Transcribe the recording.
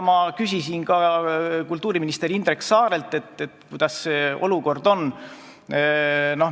Ma küsisin ka kultuuriminister Indrek Saarelt, kuidas see olukord on.